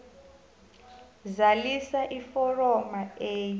zalisa iforomo a